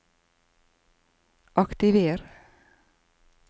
aktiver